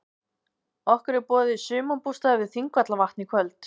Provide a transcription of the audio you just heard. Okkur er boðið í sumarbústað við Þingvallavatn í kvöld.